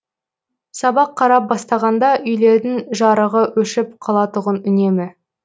сабақ қарап бастағанда үйлердің жарығы өшіп қалатұғын үнемі